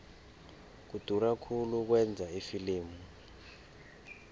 kudura khulu ukwenza ifilimu